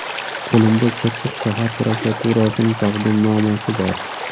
Qo‘limda Chirchiq shahar prokuraturasining taqdimnomasi bor.